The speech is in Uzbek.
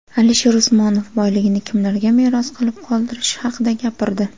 Alisher Usmonov boyligini kimlarga meros qilib qoldirishi haqida gapirdi.